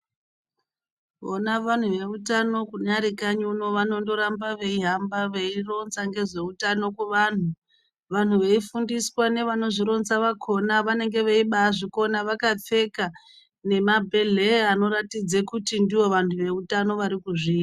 Vona vantu veutano kunyari kanyi uno vanondoramba veihamba veironza ngezveutano kuvantu, vantu veifundiswa nevanozvironza vakona vanenge veibazvikona vakapfeka nemabhedhleya anoratidza kuti ndivo vantu veutano varikuzviita.